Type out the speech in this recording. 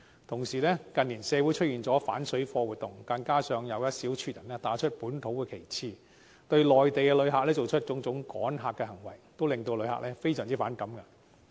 同時，近年出現反水貨活動，加上一小撮人打着本土旗號，對內地旅客做出趕客行為，令旅客非常反感。